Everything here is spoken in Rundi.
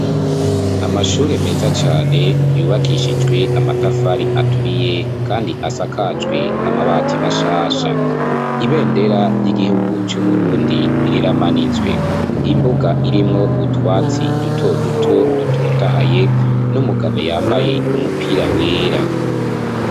Amashure meza cane yubakishijwe amatafari aturiye kandi asakajwe amabati mashasha, ibendera ry'igihugu c'u Burundi riramanitswe, imbuga irimwo utwatsi dutoduto dutotahaye n'umugabo yambaye umupira wera.